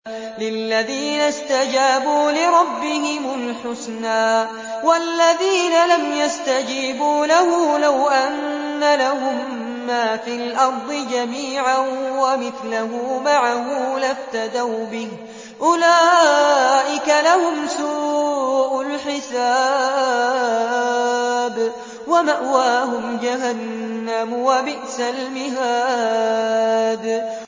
لِلَّذِينَ اسْتَجَابُوا لِرَبِّهِمُ الْحُسْنَىٰ ۚ وَالَّذِينَ لَمْ يَسْتَجِيبُوا لَهُ لَوْ أَنَّ لَهُم مَّا فِي الْأَرْضِ جَمِيعًا وَمِثْلَهُ مَعَهُ لَافْتَدَوْا بِهِ ۚ أُولَٰئِكَ لَهُمْ سُوءُ الْحِسَابِ وَمَأْوَاهُمْ جَهَنَّمُ ۖ وَبِئْسَ الْمِهَادُ